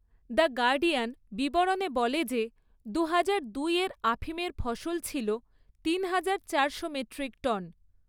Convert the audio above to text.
The Guardian বিবরণে বলে যে দুহাজার দুই এর আফিমের ফসল ছিল তিন তিনহাজার চারশো মেট্রিক টন।